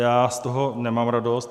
Já z toho nemám radost.